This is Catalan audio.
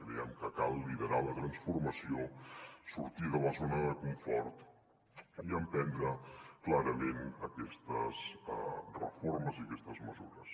creiem que cal liderar la transformació sortir de la zona de confort i emprendre clarament aquestes reformes i aquestes mesures